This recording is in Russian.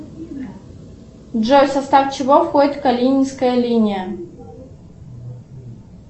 джой в состав чего входит калининская линия